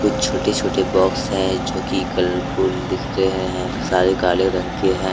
छोटे छोटे बॉक्स है जो कि कलरफूल दिख रहे हैं सारे काले रंग के हैं।